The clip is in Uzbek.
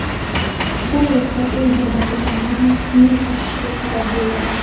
Bu esa o‘z navbatida narxning oshishiga sabab bo‘ladi.